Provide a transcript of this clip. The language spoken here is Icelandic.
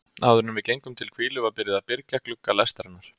Áðuren við gengum til hvílu var byrjað að byrgja glugga lestarinnar.